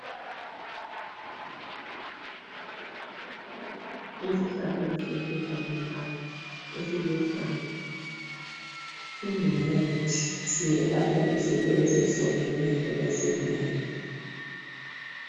Isihlahla lesi esifakwe lapha esiluhlaza, singumuthi. Siyelapha izinto ezehlukeneyo ezinengi.